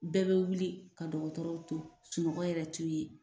Bɛɛ be wuli ka dɔgɔtɔrɔw to sunɔgɔ yɛrɛ t'u ye